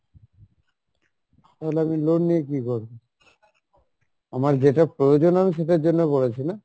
তাহলে আমি loan নিয়ে কী করবো? আমার যেটা প্রয়োজন আমি সেটার জন্য করেছি না,